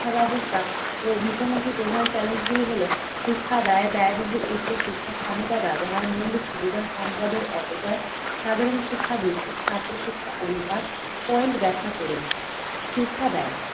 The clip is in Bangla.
শিক্ষা ব্যবস্থা ও মুখোমুখি প্রধান challenge গুলি হলো, শিক্ষা ব্যা ব্যায়বহুল উচ্চ শিক্ষা ক্ষমতা ব্যবহার মৌলিক সুবিধা সম্পদের অপচয় সাধারণ শিক্ষাবৃত্তির ছাত্র শিক্ষা অনুপাত point ব্যাখ্যা করুন। শিক্ষা ব্যায়